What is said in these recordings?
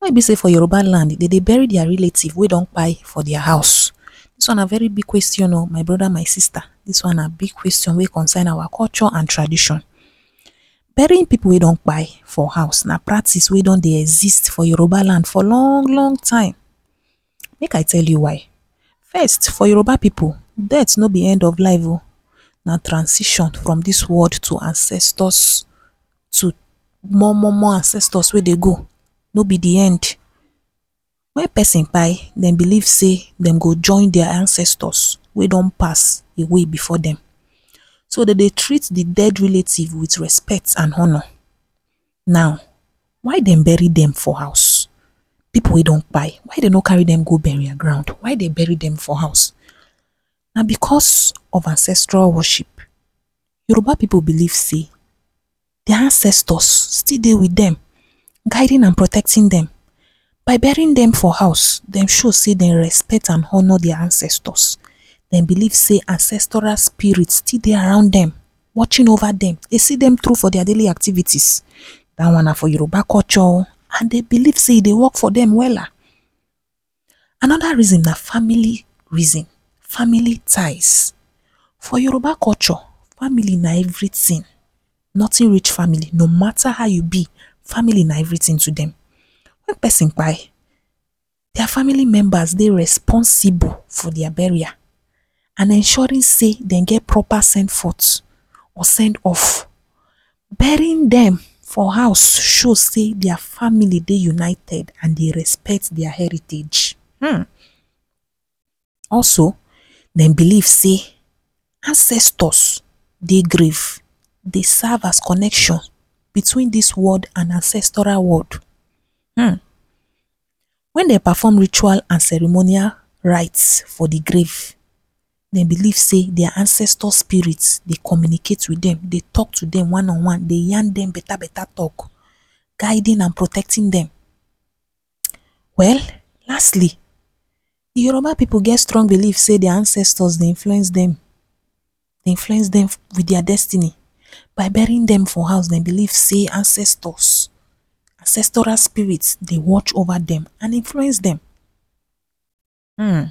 Why e be sey for Yoruba land dem dey bury their relative wey for their house, dis one na very big question or my broad and sista dis one na big question wey concern our culture and tradition. burying pipu wey don for house na practice wey don dey exist for Yoruba land for long longtime make I tell you why. first for Yoruba pipu dead no be end of life o na transition from dis world to ancestors to more more more ancestors wey dey go no be de end. when person dem believe sey dem go join their ancestors wey don pass away before so dey dey treat de death relative with respect and honor now why dem bury dem for house? pipu wey don why dem no carry dem go burial ground why dem bury dem for house na because of ancestral worship, Yoruba pipu believe sey their ancestors still dey with dem guiding and protecting dem by burying dem for house dem show sey dem respect and honor their ancestors dem believe sey ancestral spirit still dey around dem, watching over dem and seeing them through their daily activities dat one na for Yoruba culture o and dem believe sey e dey work for dem wella another reason na family reason, family ties, for Yoruba culture family na everything nothing reach family no matter how e be family na everything to dem when person their family members dey responsible for their burial and ensuring sey dem get proper send forth or send off burying dem for house go show sey their family dey united and dem dey respect their heritage hmm also dem believe sey ancestors dey grave dey serve as connection between dis world and de ancestral world hmmm when dem perform ritual and ceremonial rite for de grave dem believe sey their ancestors spirit dey communicate with dem, dey talk to dem one on one, dey yan dem beta beta talk, guilding and protecting dem well lastly Yoruba pipu get strong believe sey their ancestors dey influence dem with their destiny burying dem for house dem believe sey ancestors, ancestral spirit dey watch over dem and influence dem hmmm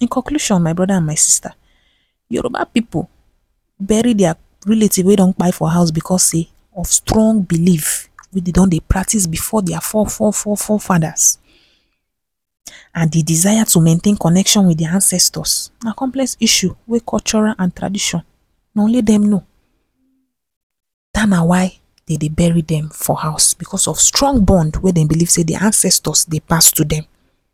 in conclusion my broda and sista Yoruba pipu bury their relative wey for house because sey of strong believe wey dey den dey practice before their fore fore fore faders and de desire to maintain connection with their ancestors na complex issue whey culturl and tradition na only dem no dat na why dem dey bury dem for house because of strong bond wey dem believe sey their ancestors dey pass to dem.